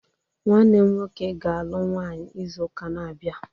Nwanne m nwọke ga- alụ nwaanyi ịzu-ụka n'abia